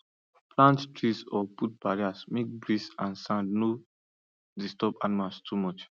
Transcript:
plant tree or put barrier make breeze and sand no disturb animals too much